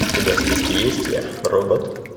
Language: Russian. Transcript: у тебя в списке есть я робот